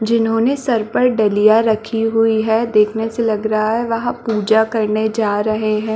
जिन्होंने सर पर डलिया रखी हुई है देखने से लग रहा है वहाँ पूजा करने जा रहै हैं।